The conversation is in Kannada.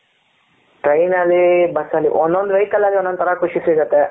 train ಅಲ್ಲಿ ಬಸ್ ಅಲ್ಲಿ ಒಂದು ಒಂದು vehicle ಅಲ್ಲಿ ಒಂದು ಒಂದು ತರ ಖುಷಿ ಸಿಗುತ್ತೆ.